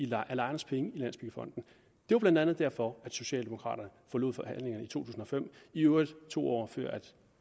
lejernes penge i landsbyggefonden det var blandt andet derfor socialdemokraterne forlod forhandlingerne i to tusind og fem i øvrigt to år før